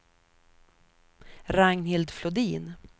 Ragnhild Flodin